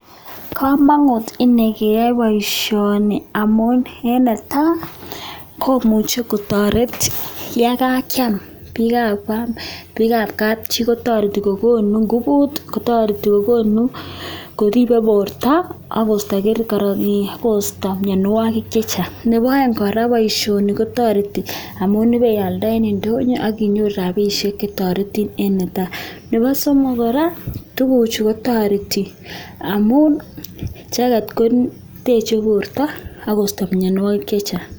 Kamangut keai. poishani amun tariti keam AK.kokon (nguvu) ako kericheek cheistai mianwagik chechang